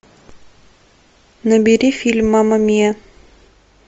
набери фильм мама мия